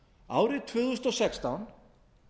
árið tvö þúsund og sextán